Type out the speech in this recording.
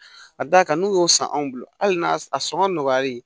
Ka d'a kan n'u y'o san anw bolo hali n'a sɔngɔ nɔgɔyalen